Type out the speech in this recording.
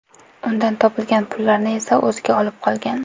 Undan topgan pullarni esa o‘ziga olib qolgan.